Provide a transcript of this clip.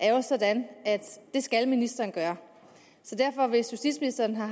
er sådan at det skal ministeren gøre så hvis justitsministeren har